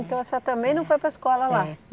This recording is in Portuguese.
Então a senhora também não foi para escola lá? É